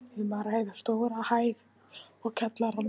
Um er að ræða stóra hæð og kjallara.